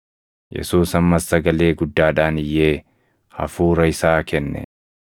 Yesuus ammas sagalee guddaadhaan iyyee hafuura isaa kenne.